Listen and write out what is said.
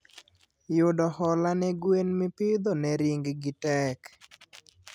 Yudo hola ne gwen mipidho ne ring gi tek